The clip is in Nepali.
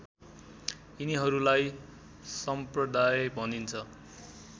यिनिहरूलाई सम्प्रदाय भनिन्छ